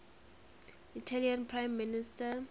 italian prime minister